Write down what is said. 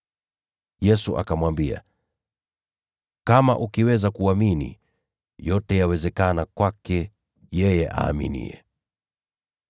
Yesu akamwambia, “Kama ukiweza kuamini, yote yawezekana kwake yeye aaminiye.”